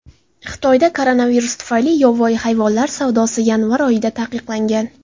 Xitoyda koronavirus tufayli yovvoyi hayvonlar savdosi yanvar oyida taqiqlangan .